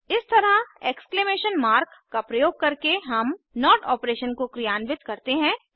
इस तरह exclamation mark का प्रयोग करके हम नोट ऑपरेशन को क्रियान्वित करते हैं